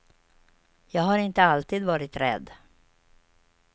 Jag har inte alltid varit rädd.